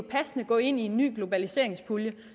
gå ind i en ny globaliseringspulje